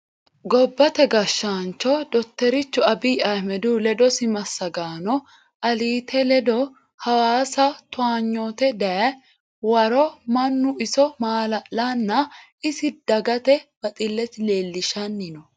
Gobbate gashaancho dottorichu Abiye Ahmedihu ledosi massagaano alite ledo hawaasa towaanyote dayi waro mannu iso maala'lanna isi dagate baxilesi leelishanni no.